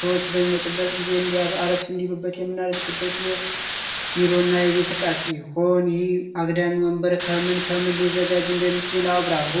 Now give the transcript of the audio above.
ሰዎች በሚወጡበት ጊዜ እንአረፍ እንዲሉበት የምናደርግበት የቢሮና የቤተ ዕቃ ሲሆን ይህ አግዳሚ ወንበር ከህምን ከምን ሊዘጋጅ እንደሚችል አብራሩ?